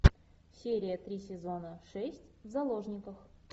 серия три сезона шесть в заложниках